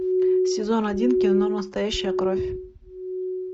сезон один кино настоящая кровь